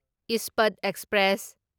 Ispat express